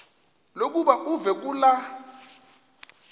lokuba uve kulaa